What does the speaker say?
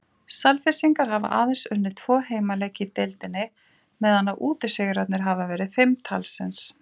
Selfyssingar hafa aðeins unnið tvo heimaleiki í deildinni meðan að útisigrarnir hafa verið fimm talsins.